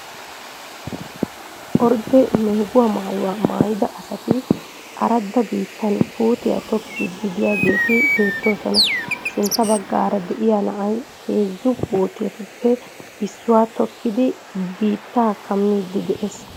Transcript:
Ordde meeguwaa maayuwa maayida asati aradda biittan puutiya tokkiiddi de'iyaageeti beettoosona. Sintta baggaara de'iyaa na"ay heezzu puutetuppe issuwaa tokkidi biittaa kammiddi de'ees.